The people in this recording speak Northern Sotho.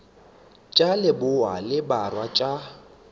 tša leboa le borwa tša